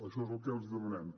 això és el que els demanem